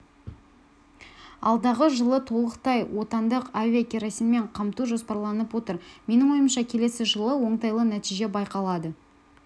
алдағы жылы толықтай отандық авиакеросинмен қамту жоспарланып отыр менің ойымша келесі жылы оңтайлы нәтиже байқалады